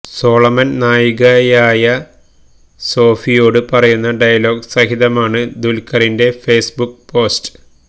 Solomon നായികയായ സോഫിയോട് പറയുന്ന ഡയലോഗ് സഹിതമാണ് ദുൽഖറിൻറെ ഫേസ്ബുക്ക് പോസ്റ്റ്